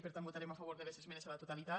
per tant votarem a favor de les esmenes a la totalitat